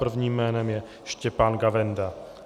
Prvním jménem je Štěpán Gavenda.